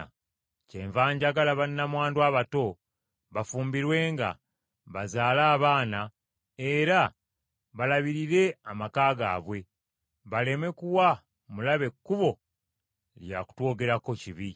Kyenva njagala bannamwandu abato bafumbirwenga, bazaale abaana, era balabirire amaka gaabwe, baleme kuwa mulabe kkubo lya kutwogerako kibi.